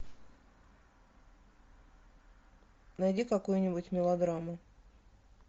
найди какую нибудь мелодраму